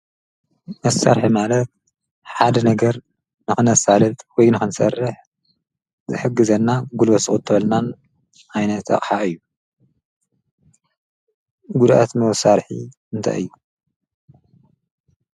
መሠርሒ ማለት ሓደ ነገር ንኾነሣለት ወይ ነኽንሠርሕ ዘሕጊ ዘና ጉልበት ሓዝቁጥበልና ኣይነት እዩ። ጕድአት መወሣርሒ እንታይ እ።